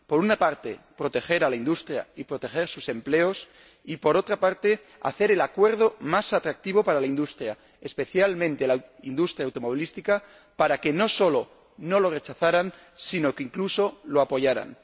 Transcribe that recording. Por una parte, proteger a la industria y proteger sus empleos y, por otra, hacer el Acuerdo más atractivo para la industria, especialmente la industria automovilística, para que no sólo no lo rechazaran, sino que, incluso, lo apoyaran.